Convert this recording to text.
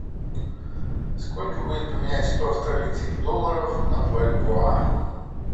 сколько будет поменять сто австралийских долларов на бальбоа